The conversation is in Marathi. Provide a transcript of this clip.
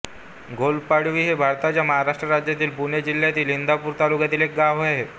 घोलपवाडी हे भारताच्या महाराष्ट्र राज्यातील पुणे जिल्ह्यातील इंदापूर तालुक्यातील एक गाव आहे